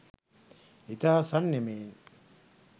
ඉතා සංයමයෙන්